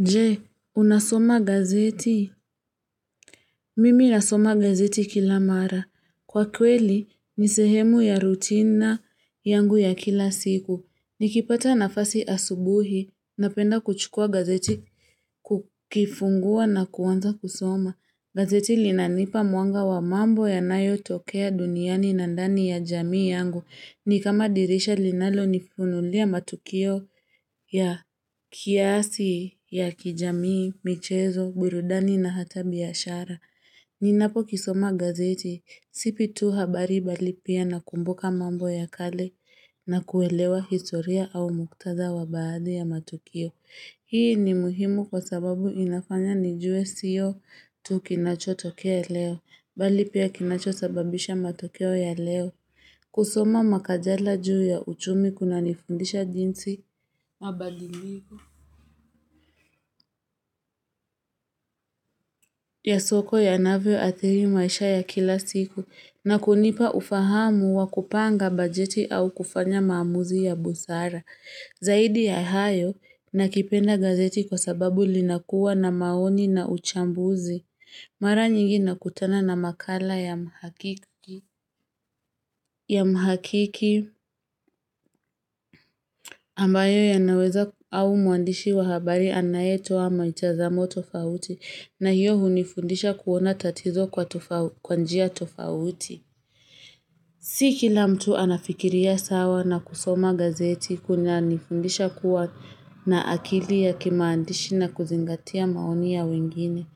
Je, unasoma gazeti? Mimi nasoma gazeti kila mara. Kwa kweli, ni sehemu ya rutina yangu ya kila siku. Nikipata nafasi asubuhi, napenda kuchukua gazeti kukifungua na kuanza kusoma. Gazeti linanipa mwanga wa mambo ya nayotokea duniani na ndani ya jamii yangu. Ni kama dirisha linalonifunulia matukio ya kiasi ya kijamii, michezo, burudani na hata biashara. Ninapokisoma gazeti, sipi tu habari bali pia nakumbuka mambo ya kale na kuelewa historia au muktadha wa baadhi ya matukio. Hii ni muhimu kwa sababu inafanya nijue sio tu kinachotokea leo, bali pia kinacho sababisha matokeo ya leo. Kusoma makajala juu ya uchumi kunanifundisha jinsi mabadiliko ya soko yanavyo adhiri maisha ya kila siku na kunipa ufahamu wa kupanga bajeti au kufanya maamuzi ya busara Zaidi ya hayo nakipenda gazeti kwa sababu linakuwa na maoni na uchambuzi Mara nyingi nakutana na makala ya ya mhakiki ambayo yanaweza au mwandishi wa habari anayetoa mitazamo tofauti na hiyo hunifundisha kuona tatizo kwa njia tofauti. Si kila mtu anafikiria sawa na kusoma gazeti kunanifundisha kuwa na akili ya kimaandishi na kuzingatia maoni ya wengine.